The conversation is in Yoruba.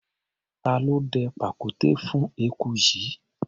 Ta ló dẹ pàkúté fún eku yìí?